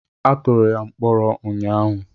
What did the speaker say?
Atụrụ ya mkpọrọ ụnyaahụ.